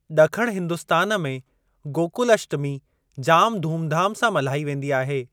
ड॒खण हिंदुस्तान में गोकुलष्टमी जाम धूमधाम सां मल्हाई वेंदी आहे।